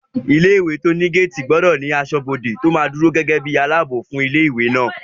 Ilé-ìwé tó ní géètì gbọdọ̀ ní asọ́bodè tó máa dúró ní ipò aláàbò fún ilé-ìwé náà